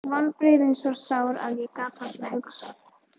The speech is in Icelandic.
Vonbrigðin svo sár að ég gat varla hugsað.